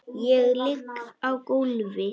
Ég ligg á gólfi.